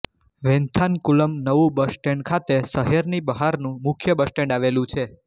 વૈન્થાનકુલમ નવું bus stand ખાતે શહેરની બહારનું મુખ્ય બસ સ્ટેન્ડ આવેલું છે